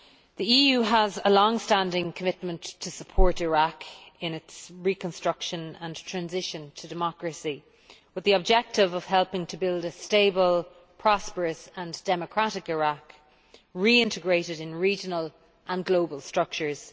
The EU has a long standing commitment to support Iraq in its reconstruction and transition to democracy, with the objective of helping to build a stable, prosperous and democratic Iraq, reintegrated in regional and global structures.